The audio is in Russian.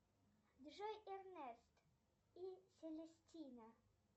джой эрнест и селестина